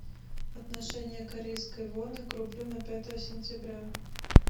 отношение корейской воны к рублю на пятое сентября